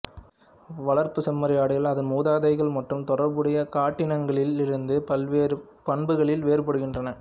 வளர்ப்புச் செம்மறியாடுகள் அதன் மூதாதைகள் மற்றும் தொடர்புடைய காட்டினங்களிலிருந்து பல்வேறு பண்புகளில் வேறுபடுகின்றன